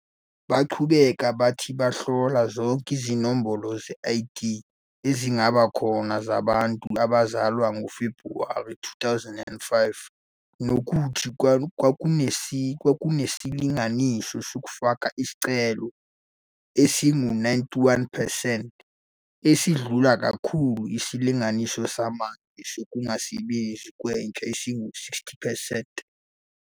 Baqhubeka bathi bahlola zonke izinombolo ze-ID ezingaba khona zabantu abazalwa ngoFebhuwari 2005 nokuthi kwakunesilinganiso sokufaka isicelo esingu-91 percent, esidlula kakhulu isilinganiso samanje sokungasebenzi kwentsha esingu-60 percent.